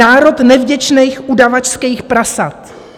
Národ nevděčných, udavačských prasat."